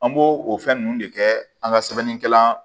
An b'o o fɛn ninnu de kɛ an ka sɛbɛnnikɛlan